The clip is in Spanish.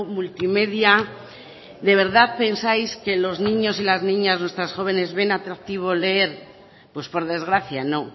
multimedia de verdad pensáis que los niños y las niñas nuestros jóvenes ven atractivo leer pues por desgracia no